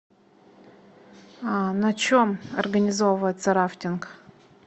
а на чем организовывается рафтинг